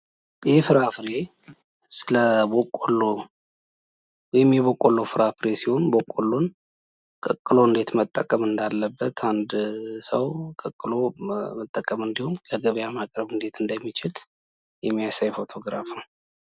ይህ ፍራፍሬ ስለበቆሎ ወይም የበቆሎ ፍራፍሬ ሲሆን በቆሎን ቀቅሎ እንዴት መጠቀም እንዳለበት አንድ ሰው ቀቅሎ መጠቀም እንዲሁም ለገበያ ማቅረብ እንዴት እንደሚችል የሚያሳይ ፎቶግራፍ ነው።